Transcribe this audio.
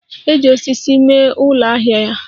Eji osisi mee ụlọ ahịa ya.